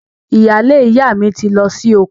Ìyaalé ìyá mi ti lọ sí oko